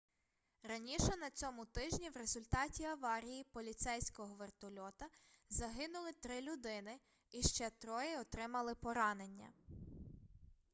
раніше на цьому тижні в результаті аварії поліцейського вертольота загинули три людини і ще троє отримали поранення